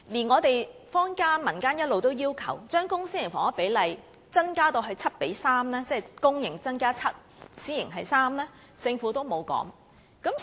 我們坊間一直要求把公、私營房屋的比例增加至 7：3， 即每7個公營房屋單位，便有3個私營房屋單位，但政府並無回應。